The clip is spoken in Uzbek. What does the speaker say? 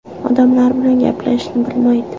Odamlar bilan gaplashishni bilmaydi.